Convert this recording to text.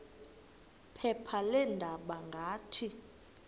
phepha leendaba ngathi